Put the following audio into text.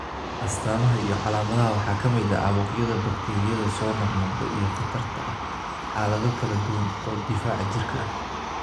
astamaha iyo calaamadaha waxaa ka mid ah caabuqyada bakteeriyada soo noqnoqda iyo khatarta ah xaalado kala duwan oo difaaca jirka ah.